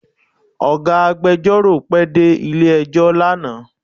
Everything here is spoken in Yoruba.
Ọ̀gá agbẹjọ́rò pẹ dé ilé ẹjọ́ lánàá